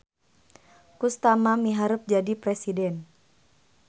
Kustama miharep jadi presiden